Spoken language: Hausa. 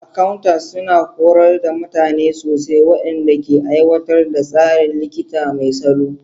Accounters suna horar da mutane sosai waɗanda ke aiwatar da tsarin likita mai salo.